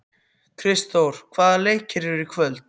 Kristþór, hvaða leikir eru í kvöld?